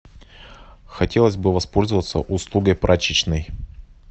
хотелось бы воспользоваться услугой прачечной